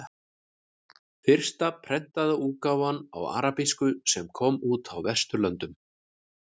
Fyrsta prentaða útgáfan á arabísku sem kom út á Vesturlöndum.